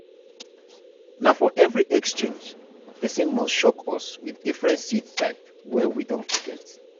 na for every exchange person must shock us with different seed type wey we don forget.